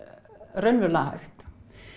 raunverulega hægt